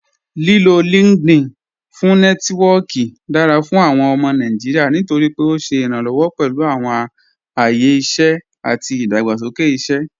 Lílò LinkedIn fún Nẹtiwọọki dára fún awọn ọmọ Nàìjíríà nítorí pé ó ṣé iranlọwọ pẹ̀lú awọn ayé iṣẹ àti ìdágbàsókè iṣẹ.